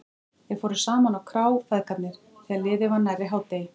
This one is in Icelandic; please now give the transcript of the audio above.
Þeir fóru saman á krá, feðgarnir, þegar liðið var nærri hádegi.